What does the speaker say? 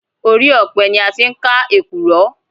Orí ọpẹ ni a tí ń ká èkùrọ́